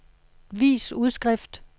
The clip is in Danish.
vis udskrift